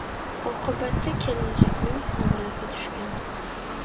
Oqibatda kelinchakning homilasi tushgan.